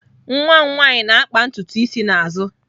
Nwa m nwanyị na-akpa ntutu isi n'azụ.